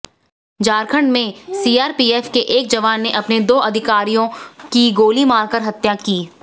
झारखंड में सीआरपीएफ के एक जवान ने अपने दो अधिकारियों की गोली मारकर हत्या की